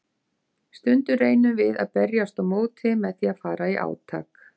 Stundum reynum við að berjast á móti með því að fara í átak.